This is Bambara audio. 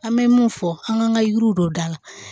An bɛ mun fɔ an k'an ka yiriw don da la